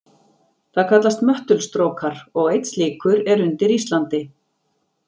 Það kallast möttulstrókar, og einn slíkur er undir Íslandi.